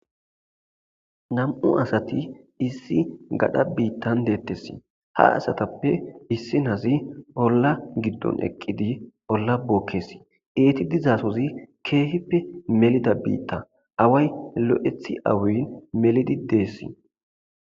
2 asat issi gadha bitan detes. Ha asatappe issinoz ola gidon eqid ola bikes. Eti dizasoz keehippe melida bita away lo'et awin melid Des.